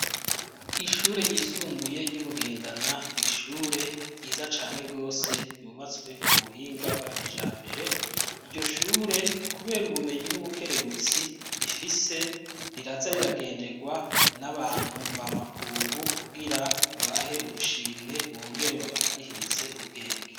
Ishure ryisumbuye ry'iBugendana, n’ishure ryiza cane gose ryubatse ku buhinga bwa kijambere, iryo shure kubera ubumenyi n'ubukerebutsi rifise riraza riragendegwa n'abantu mva makungu kugira babahe ubushimwe bongere babakarihirize ubwenge.